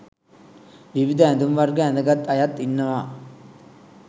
විවිධ ඇඳුම් වර්ග ඇඳගත් අයත් ඉන්නවා